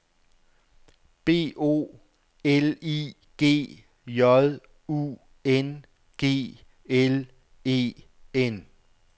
B O L I G J U N G L E N